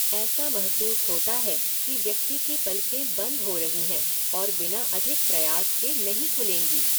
ऐसा महसूस होता है कि व्यक्ति की पलकें बंद हो रही हैं और बिना अधिक प्रयास के नहीं खुलेंगी।